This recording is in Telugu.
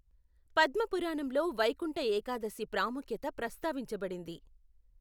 పద్మ పురాణంలో వైకుంఠ ఏకాదశి ప్రాముఖ్యత ప్రస్తావించబడింది.